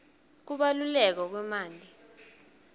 kubaluleka kwemanti